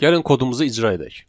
Gəlin kodumuzu icra edək.